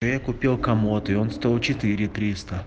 я купил комод и он стоил четыре тристо